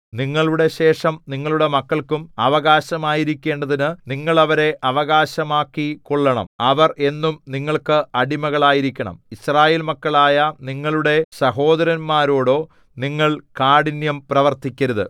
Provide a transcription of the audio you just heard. നിങ്ങളുടെ ശേഷം നിങ്ങളുടെ മക്കൾക്കും അവകാശമായിരിക്കേണ്ടതിനു നിങ്ങൾ അവരെ അവകാശമാക്കിക്കൊള്ളണം അവർ എന്നും നിങ്ങൾക്ക് അടിമകളായിരിക്കണം യിസ്രായേൽ മക്കളായ നിങ്ങളുടെ സഹോദരന്മാരോടോ നിങ്ങൾ കാഠിന്യം പ്രവർത്തിക്കരുത്